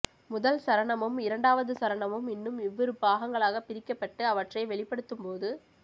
முதல் சரணமும் இரண்டாவது சரணமும் இன்னும் இவ்விரு பாகங்களாகப் பிரிக்கப்பட்டு அவற்றை வெளிப்படுத்தும் போது